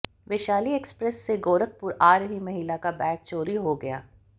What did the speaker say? Vaishali express से गोरखपुर आ रही महिला का बैग चोरी हो गया